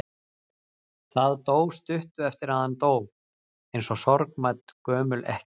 Það dó stuttu eftir að hann dó, eins og sorgmædd gömul ekkja.